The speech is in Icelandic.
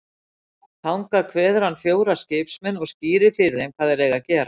Þangað kveður hann fjóra skipsmenn og skýrir fyrir þeim hvað þeir eigi að gera.